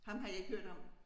Ham har jeg ikke hørt om